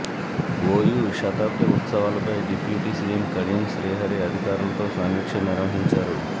OU శతాబ్ది ఉత్సవాలపై deputy CM Kadiyam Srihari అధికారులతో సమీక్ష నిర్వహించారు